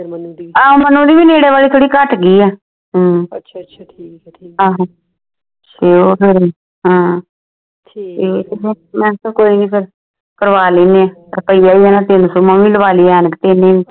ਹਮ ਮਨੁ ਦੀ ਵੇ ਨੇੜੇ ਵਾਲੀ ਥੋੜੀ ਘਟ ਗਈ ਆ ਆਹੋ ਤੇ ਉਹੁ ਫਿਰ ਹਾਂ ਮੈਂ ਆਖਿਆ ਕੋਈ ਨਹੀਂ ਫੇਰ ਕਰਵਾ ਲੈਣੇ ਆ ਪਤਾ ਹੀ ਤਿੰਨ ਸੋ ਮੈਂ ਵੀ ਲਵਾ ਲਈ ਐਨਕ ਤਿੰਨ